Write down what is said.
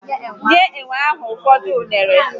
Nye enwe ahụ ụfọdụ unere